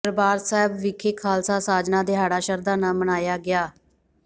ਦਰਬਾਰ ਸਾਹਿਬ ਵਿਖੇ ਖ਼ਾਲਸਾ ਸਾਜਨਾ ਦਿਹਾੜਾ ਸ਼ਰਧਾ ਨਾਲ ਮਨਾਇਆ ਗਿਆ